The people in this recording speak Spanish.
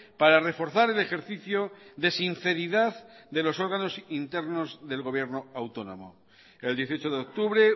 para reforzar el ejercicio de sinceridad de los órganos internos del gobierno autónomo el dieciocho de octubre